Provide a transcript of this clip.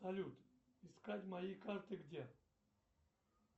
салют искать мои карты где